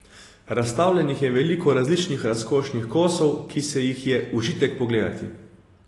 Razstavljenih je veliko različnih razkošnih kosov, ki si jih je užitek pogledati.